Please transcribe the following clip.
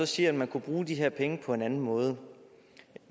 siger at man kunne bruge de her penge på en anden måde